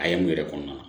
A ye mun yɛrɛ kɔnɔna